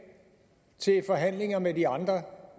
til forhandlingerne med de andre